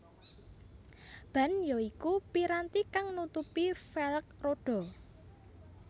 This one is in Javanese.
Ban ya iku piranti kang nutupi velg rodha